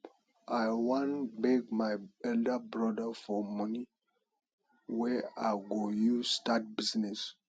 i wan beg my elder brother for money wey i go use start business